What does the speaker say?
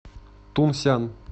тунсян